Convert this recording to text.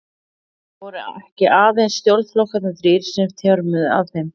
Það voru ekki aðeins stjórnarflokkarnir þrír, sem nú þjörmuðu að þeim.